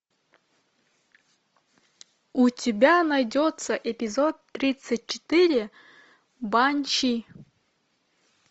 у тебя найдется эпизод тридцать четыре банши